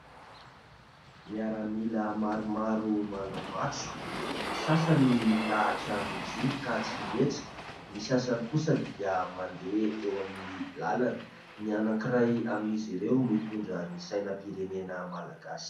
Miaramila maromaro manao matso, ny sasany milahatra mijoro ka tsy mihetsika, ny sasany kosa dia mandeha eo amin'ny lalana, ny anankiray amin'izy ireo mitondra ny sainam-pirenena malagasy.